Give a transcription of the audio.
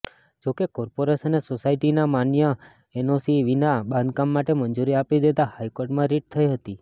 જોકે કોર્પોરેશને સોસાયટીના માન્ય એનઓસી વિના બાંધકામ માટે મંજુરી આપી દેતાં હાઇકોર્ટમાં રીટ થઇ હતી